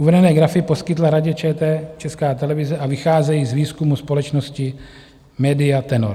Uvedené grafy poskytla Radě ČT Česká televize a vycházejí z výzkumu společnosti Media Tenor.